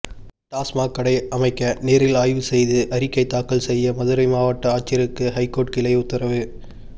டாஸ்மாக் கடை அமைக்க நேரில் ஆய்வு செய்து அறிக்கை தாக்கல் செய்ய மதுரை மாவட்ட ஆட்சியருக்கு ஐகோர்ட் கிளை உத்தரவு